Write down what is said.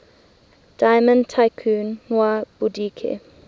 diamond tycoon nwabudike